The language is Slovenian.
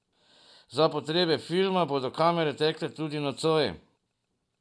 Za potrebe filma bodo kamere tekle tudi nocoj.